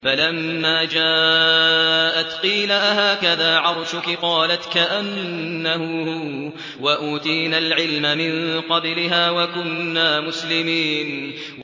فَلَمَّا جَاءَتْ قِيلَ أَهَٰكَذَا عَرْشُكِ ۖ قَالَتْ كَأَنَّهُ هُوَ ۚ وَأُوتِينَا الْعِلْمَ مِن قَبْلِهَا وَكُنَّا مُسْلِمِينَ